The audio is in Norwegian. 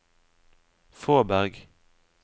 Fåberg